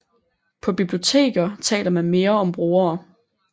På biblioteker taler man mere om brugere